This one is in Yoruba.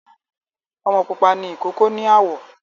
Ọmọ pupa ni ìkókó ní àwọ̀